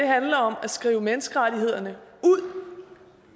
handler om at skrive menneskerettighederne ud